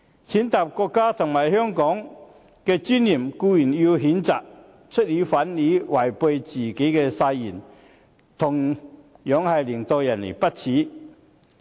踐踏國家和香港的尊嚴固然要譴責，出爾反爾違背自己的誓言，同樣令人不齒。